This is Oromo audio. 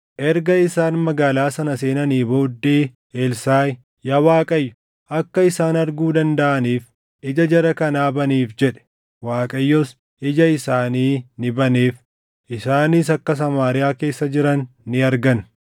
Erga isaan magaalaa sana seenanii booddee Elsaaʼi, “Yaa Waaqayyo akka isaan arguu dandaʼaniif ija jara kanaa baniif” jedhe. Waaqayyos ija isaanii ni baneef; isaanis akka Samaariyaa keessa jiran ni argan.